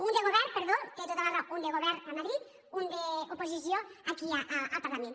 un de govern perdó té tota la raó un de govern a madrid un d’oposició aquí al parlament